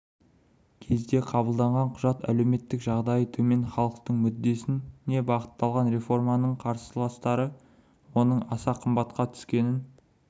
кезде қабылданған құжат әлеуметтік жағдайы төмен халықтың мүддесіне бағытталған реформаның қарсыластары оның аса қымбатқа түскенін